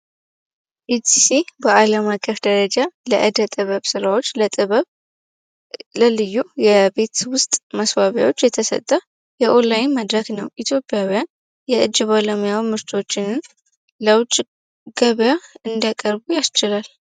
ኢዲሲ በዓለም አቀፍ ደረጃ ለእደ ጥበብ ስራዎች ለጥበብ ለልዩ የቤት ውስጥ መስዋቢያዎች የተሰጠ የኦንላይን መድረክ ነው። ኢትዮጵያ ውያን የእጅ ባለሙያ ምርቶችን እንዲያሳዉቅ ገበያ እንደቀርቡ ያስችላል።